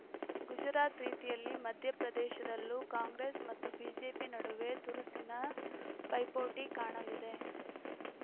ಗುಜರಾತ್‌ ರೀತಿಯಲ್ಲಿ ಮಧ್ಯಪ್ರದೇಶದಲ್ಲೂ ಕಾಂಗ್ರೆಸ್‌ ಮತ್ತು ಬಿಜೆಪಿ ನಡುವೆ ತುರುಸಿನ ಪೈಪೋಟಿ ಕಾಣಲಿದೆ